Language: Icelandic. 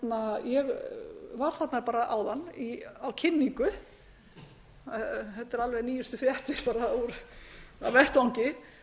í vinnu ég var þarna áðan á kynningu þetta eru alveg nýjustu fréttir af vettvangi þar